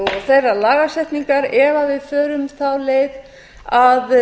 þeirrar lagasetningar ef við förum þá leið að